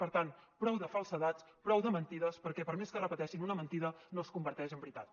per tant prou de falsedats prou de mentides perquè per més que repeteixin una mentida no es converteix en veritat